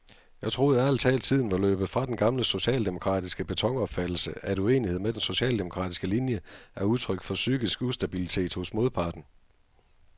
Jeg troede ærligt talt tiden var løbet fra den gamle socialdemokratiske betonopfattelse, at uenighed med den socialdemokratiske linie er udtryk for psykisk ustabilitet hos modparten.